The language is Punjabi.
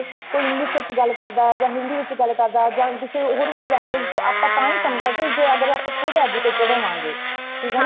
ਕੋਈ english ਵਿੱਚ ਗਲ ਕਰਦਾ ਯਾ ਹਿੰਦੀ ਵਿੱਚ ਗਲ ਕਰਦਾ ਯਾ ਕਿਸੀ ਹੋਰ ਵੀ language ਆਪਾ ਤਾਹੀ ਸੰਜਾਹ ਗੇ ਜੇ ਅਗਰ ਆਪਾ ਖੁਦ educated ਹੋਵਾਂਗੇ ਠੀਕ ਹੈ